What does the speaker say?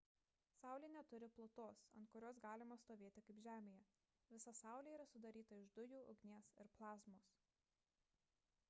saulė neturi plutos ant kurios galima stovėti kaip žemėje visa saulė yra sudaryta iš dujų ugnies ir plazmos